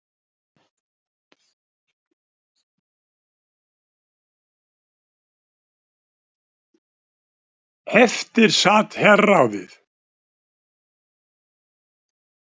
Eftir sat herráðið.